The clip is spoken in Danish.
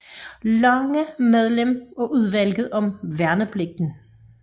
Lange medlem af Udvalget om værnepligten